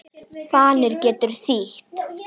Fanir getur þýtt